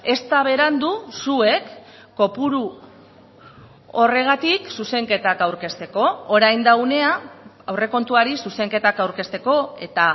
ez da berandu zuek kopuru horregatik zuzenketak aurkezteko orain da unea aurrekontuari zuzenketak aurkezteko eta